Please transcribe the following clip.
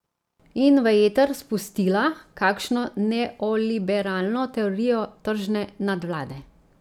In v eter spustila kakšno neoliberalno teorijo tržne nadvlade.